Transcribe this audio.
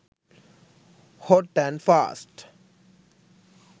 hot and fast